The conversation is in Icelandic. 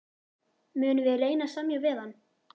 Munum við reyna að semja við hann?